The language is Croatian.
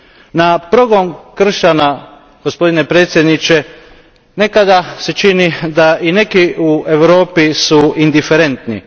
Na progon kršćana, gospodine predsjedniče, nekada se čini da i neki u Europi su indiferentni.